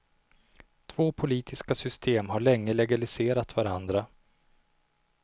Två politiska system har länge legaliserat varandra.